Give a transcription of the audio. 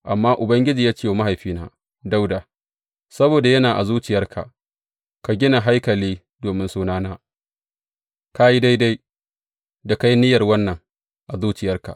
Amma Ubangiji ya ce wa mahaifina Dawuda, Saboda yana a zuciyarka ka gina haikali domin Sunana, ka yi daidai da ka yi niyyar wannan a zuciyarka.